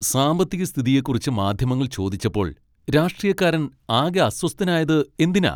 സാമ്പത്തികസ്ഥിതിയെക്കുറിച്ച് മാധ്യമങ്ങൾ ചോദിച്ചപ്പോൾ രാഷ്ട്രീയക്കാരൻ ആകെ അസ്വസ്ഥനായത് എന്തിനാ?